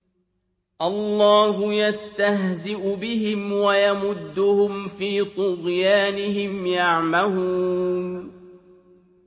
اللَّهُ يَسْتَهْزِئُ بِهِمْ وَيَمُدُّهُمْ فِي طُغْيَانِهِمْ يَعْمَهُونَ